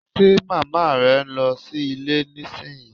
Ṣe màmá rẹ ń lọ ilé nísìnyí?